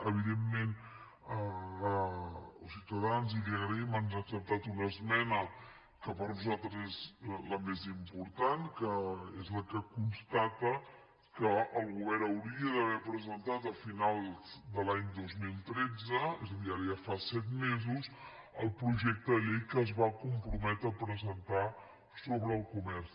evidentment ciutadans i li ho agraïm ens ha acceptat una esmena que per nosaltres és la més important que és la que constata que el govern hauria d’haver presentat a finals de l’any dos mil tretze és a dir ara ja fa set mesos el projecte de llei que es va comprometre a presentar sobre el comerç